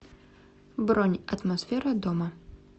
бронь атмосфера дома